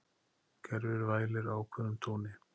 Kerfið vælir á ákveðnum tóni.